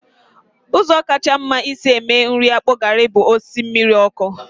Ụzọ kacha mma isi mee nri akpu garri bụ isi mmiri ọkụ